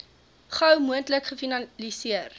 gou moontlik gefinaliseer